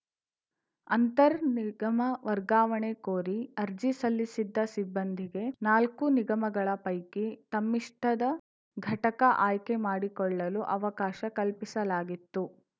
ಅಂತರ್‌ ನಿಗಮ ವರ್ಗಾವಣೆ ಕೋರಿ ಅರ್ಜಿ ಸಲ್ಲಿಸಿದ್ದ ಸಿಬ್ಬಂದಿಗೆ ನಾಲ್ಕು ನಿಗಮಗಳ ಪೈಕಿ ತಮ್ಮಿಷ್ಟದ ಘಟಕ ಆಯ್ಕೆ ಮಾಡಿಕೊಳ್ಳಲು ಅವಕಾಶ ಕಲ್ಪಿಸಲಾಗಿತ್ತು